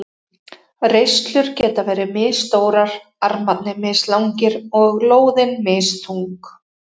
Reislur geta verið misstórar, armarnir mislangir og lóðin misþung.